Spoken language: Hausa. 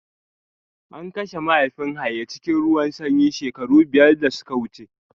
An kashe mahaifin Haye cikin ruwan sanyi shekaru biyar da suka wuce